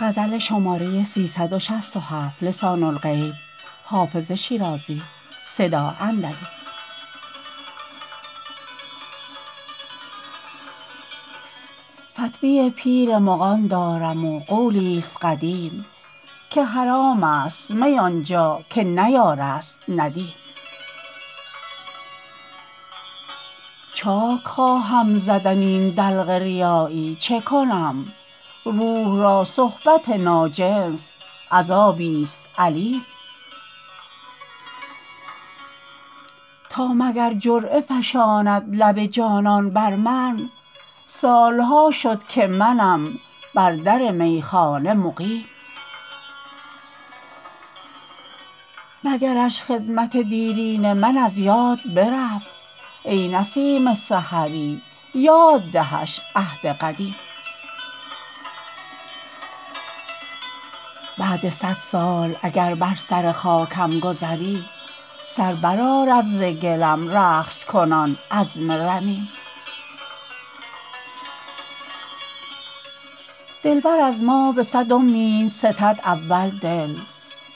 فتوی پیر مغان دارم و قولی ست قدیم که حرام است می آن جا که نه یار است ندیم چاک خواهم زدن این دلق ریایی چه کنم روح را صحبت ناجنس عذابی ست الیم تا مگر جرعه فشاند لب جانان بر من سال ها شد که منم بر در میخانه مقیم مگرش خدمت دیرین من از یاد برفت ای نسیم سحری یاد دهش عهد قدیم بعد صد سال اگر بر سر خاکم گذری سر برآرد ز گلم رقص کنان عظم رمیم دلبر از ما به صد امید ستد اول دل